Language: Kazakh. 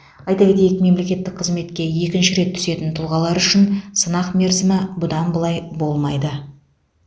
айта кетейік мемлекеттік қызметке екінші рет түсетін тұлғалар үшін сынақ мерзімі бұдан былай болмайды